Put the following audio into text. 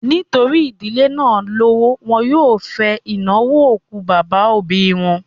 Nítorí ìdílé náà lówó, wọn yóò fẹ ìnáwó òkú bàbá òbí wọn